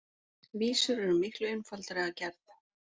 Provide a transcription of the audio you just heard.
Vísur eru miklu einfaldari að gerð.